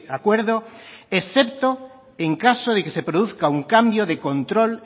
acuerdo excepto en caso de que se produzca un cambio de control